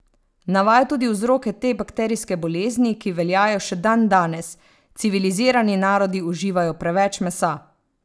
Navaja tudi vzroke te bakterijske bolezni, ki veljajo še dandanes: "Civilizirani narodi uživajo preveč mesa.